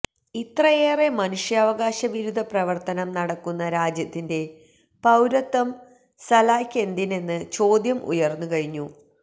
ഇത്രയേറെ മനുഷ്യാവകാശ വിരുധ പ്രവര്ത്തനം നടക്കുന്ന രാജ്യത്തിന്റെ പൌരത്വം സലായ്ക്ക് എന്തിനെന്ന് ചോദ്യം ഉയര്ന്ന് കഴിഞ്ഞു